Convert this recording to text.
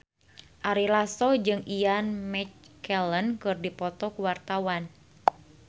Ari Lasso jeung Ian McKellen keur dipoto ku wartawan